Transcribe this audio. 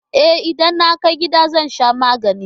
E, idan na kai gida zan sha magani.